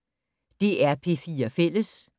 DR P4 Fælles